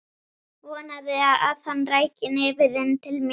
Vonaði að hann ræki nefið inn til mín.